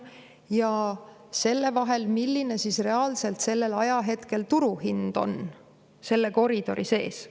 milline on reaalselt sellel ajahetkel turuhind selle koridori sees.